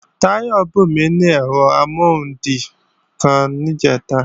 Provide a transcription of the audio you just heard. Táyọ̀ bùnmí ní ẹ̀rọ amọ́hundì kan níjẹ̀ta